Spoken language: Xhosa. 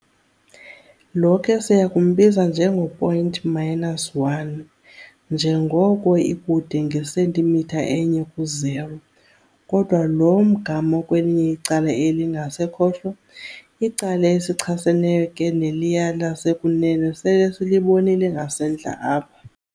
Lo ke siyakumbiza njengo-point minus 1, −1, njengoko ikude nge-centimeter enye ku-0, kodwa lo mgama ukwelinye icala eli lingasekhohlo, icala elichaseneyo ke neliya lasekunene sele silibonile ngasentla apha.